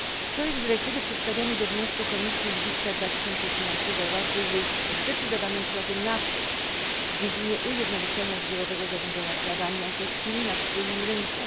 Projekt dyrektywy przedstawiony we wniosku Komisji z lipca 2012 roku jest zdecydowanym krokiem naprzód w dziedzinie ujednolicenia zbiorowego zarządzania prawami autorskimi na wspólnym rynku.